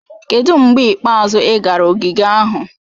Kedu mgbe ikpeazụ ị gara ogige ahụ?